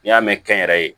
N'i y'a mɛn kɛnyɛrɛye